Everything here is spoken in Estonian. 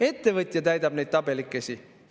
Ettevõtja täidab neid tabelikesi.